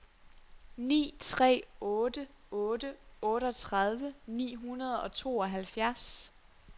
ni tre otte otte otteogtredive ni hundrede og tooghalvfjerds